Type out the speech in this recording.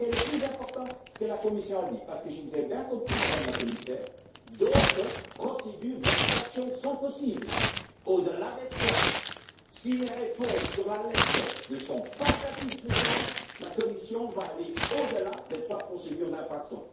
Ce qui est le plus important, c'est ce que la Commission a dit, parce que, si j'ai bien compris, Madame la Commissaire, d'autres procédures d'infraction sont possibles, outre les trois actuelles. Si les réponses à la lettre ne sont pas satisfaisantes, la Commission va aller au delà des trois procédures d'infraction.